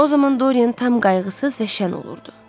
O zaman Dorian tam qayğısız və şən olurdu.